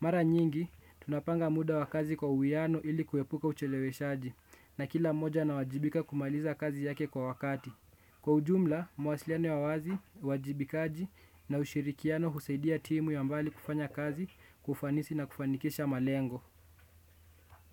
Mara nyingi, tunapanga muda wa kazi kwa uwiano ili kuepuka ucheleweshaji na kila mmoja anawajibika kumaliza kazi yake kwa wakati. Kwa ujumla, mawasiliano ya wazi, uwajibikaji na ushirikiano husaidia timu ya mbali kufanya kazi, kwa ufanisi na kufanikisha malengo.